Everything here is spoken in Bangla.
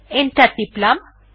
এন্টার টিপলাম